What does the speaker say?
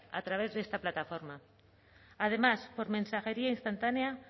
a través de esta plataforma además por mensajería instantánea